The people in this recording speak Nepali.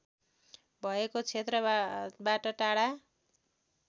भएको क्षेत्रबाट टाढा